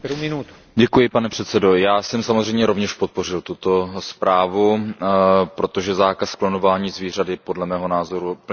Pane předsedající, já jsem samozřejmě rovněž podpořil tuto zprávu, protože zákaz klonování zvířat je podle mého názoru úplně namístě.